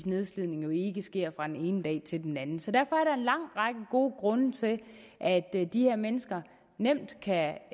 nedslidningen jo ikke sker fra den ene dag til den anden så derfor er der en lang række gode grunde til at de her mennesker nemt kan